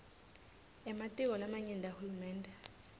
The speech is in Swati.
ematiko lamanyenti ahulumende